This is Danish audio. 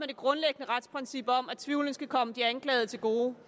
det grundlæggende retsprincip om at tvivlen skal komme de anklagede til gode